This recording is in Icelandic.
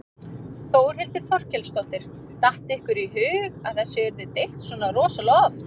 Þórhildur Þorkelsdóttir: Datt ykkur í hug að þessu yrði deilt svona rosalega oft?